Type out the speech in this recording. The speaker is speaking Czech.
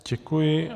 Děkuji.